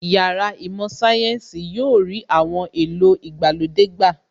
Yàrá īmò Sayensi yóò rí àwọn èlò ìgbàlódé gbà